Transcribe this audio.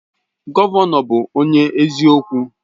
Gọvanọ bụ onye eziokwu.